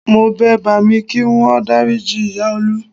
Mo bẹ bàámi kí wọ́n dáríji ìyá Olú